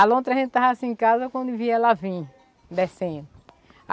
A lontra a gente estava sem casa, quando via ela vim, descendo.